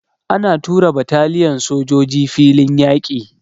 Ana tura bataliyan sojoji filin yaƙi.